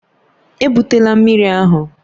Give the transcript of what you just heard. Ebutela mmiri ahụ!